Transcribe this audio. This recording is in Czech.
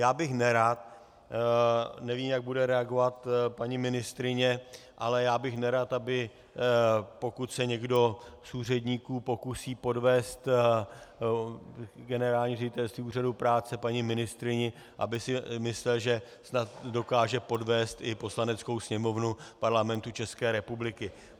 Já bych nerad, nevím, jak bude reagovat paní ministryně, ale já bych nerad, aby pokud se někdo z úředníků pokusí podvést generální ředitelství Úřadu práce, paní ministryni, aby si myslel, že snad dokáže podvést i Poslaneckou sněmovnu Parlamentu České republiky.